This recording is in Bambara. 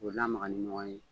K'o lamaga ni ɲɔgɔn ye